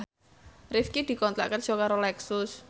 Rifqi dikontrak kerja karo Lexus